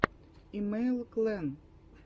имэйл клэн